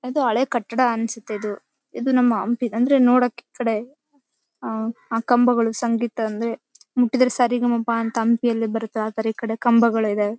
ಇದೊ ಹಳೆ ಕಟ್ಟಡ ಅನ್ಸತ್ತೆ ಇದು ನಮ್ಮ ಹಂಪಿ ಅಂದ್ರೆ ನೋಡೋಕೆ ಈ ಕಡೆ ಅಹ್ ಆ ಕಂಬಗಳು ಸಂಗೀತ ಅಂದ್ರೆ ಮುಟ್ಟಿದ್ರೆ ಸ ರೀ ಗ ಮ ಪ ಅಂತ ಹಂಪಿ ಯಲ್ಲಿ ಬರತ್ತೆ ಆ ಥರ ಈ ಕಡೆ ಕಂಬಗಳು ಇದಾವೆ .